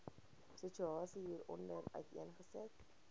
situasie hieronder uiteengesit